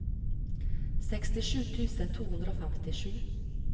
sekstisju tusen to hundre og femtisju